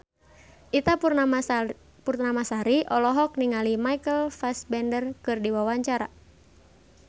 Ita Purnamasari olohok ningali Michael Fassbender keur diwawancara